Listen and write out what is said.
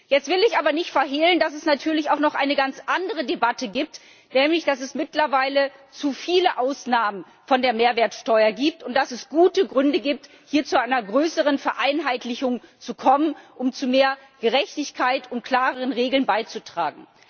Jetzt will ich aber nicht verhehlen, dass es natürlich auch noch eine ganz andere Debatte gibt, nämlich dass es mittlerweile zu viele Ausnahmen von der Mehrwertsteuer gibt und dass es gute Gründe gibt, hier zu einer größeren Vereinheitlichung zu kommen, um zu mehr Gerechtigkeit und klareren Regeln beizutragen.